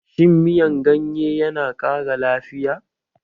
Shin miyan ganye yana ƙara lafiya?